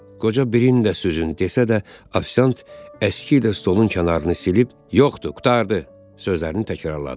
Qoca birini də süzün desə də, ofisiant əski ilə stolun kənarını silib yoxdu, qurtardı sözlərini təkrarladı.